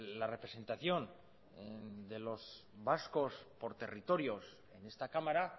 la representación de los vascos por territorios en esta cámara